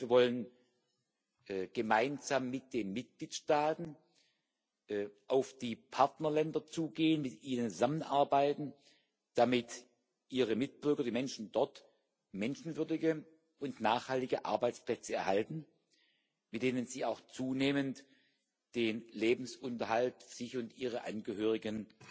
Und zweitens Wir wollen gemeinsam mit den Mitgliedstaaten auf die Partnerländer zugehen, mit ihnen zusammenarbeiten, damit ihre Mitbürger die Menschen dort menschenwürdige und nachhaltige Arbeitsplätze erhalten, mit denen sie auch zunehmend den Lebensunterhalt für sich und ihre Angehörigen